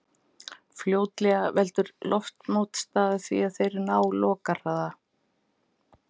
Fljótlega veldur loftmótstaða því að þeir ná lokahraða.